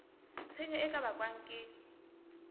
tshenyo e ka bakwang ke